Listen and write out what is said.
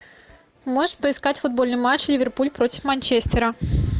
можешь поискать футбольный матч ливерпуль против манчестера